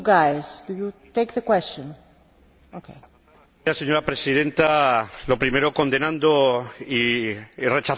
Señora Presidenta, lo primero, condenar y rechazar esos actos que comentaba el señor Tremosa.